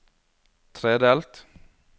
tredelt